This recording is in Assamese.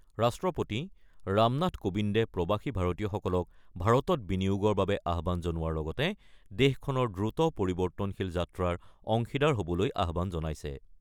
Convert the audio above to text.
ৰাষ্ট্ৰপতি ৰামনাথ কোবিন্দে প্ৰৱাসী ভাৰতীয়সকলক ভাৰতত বিনিয়োগৰ বাবে আহ্বান জনোৱাৰ লগতে দেশখনৰ দ্ৰুত পৰিৱৰ্তনশীল যাত্ৰাৰ অংশীদাৰ হ'বলৈ আহ্বান জনাইছে।